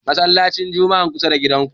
Masallacin Jum'ar kusa da gidanku.